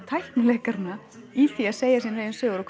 tækni leikaranna í því að segja sínar eigin sögur og